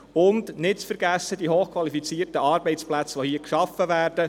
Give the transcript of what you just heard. Auch nicht zu vergessen sind die hochqualifizierten Arbeitsplätze, die hier geschaffen werden.